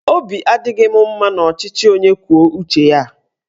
Obi adịghị m ụtọ n'ọchịchị onye kwuo uche ya a.